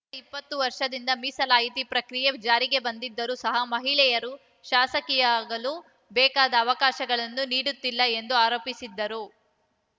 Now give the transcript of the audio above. ಕಳೆದ ಇಪ್ಪತ್ತು ವರ್ಷದಿಂದ ಮೀಸಲಾತಿ ಪ್ರಕ್ರಿಯೆ ಜಾರಿಗೆ ಬಂದಿದ್ದರೂ ಸಹ ಮಹಿಳೆಯರು ಶಾಸಕಿಯಾಗಲು ಬೇಕಾದ ಅವಕಾಶಗಳನ್ನು ನೀಡುತ್ತಿಲ್ಲ ಎಂದು ಆರೋಪಿಸಿದ್ದರು